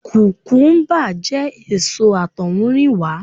Kukumuba jẹ́ èso àtohunrìnwa.